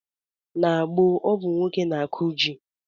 N'gboo ọ bụ nwoke n'akụ ji